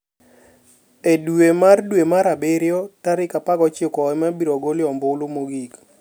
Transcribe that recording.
E dwe mar dwe mar abirio tarik 19 ema ibiro golie ombulu mogik.